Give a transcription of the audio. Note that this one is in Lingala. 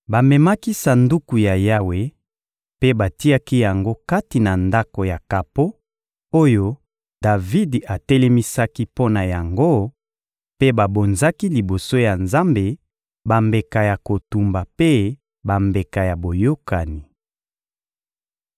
Bamemaki Sanduku ya Yawe mpe batiaki yango kati na ndako ya kapo oyo Davidi atelemisaki mpo na yango, mpe babonzaki liboso ya Nzambe bambeka ya kotumba mpe bambeka ya boyokani.